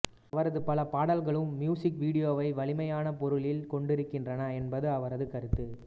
அவரது பல பாடல்களும் மியூசிக் வீடியோவை வலிமையான பொருளில் கொண்டிருக்கின்றன என்பது அவரது கருத்து